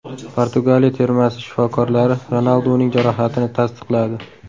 Portugaliya termasi shifokorlari Ronalduning jarohatini tasdiqladi.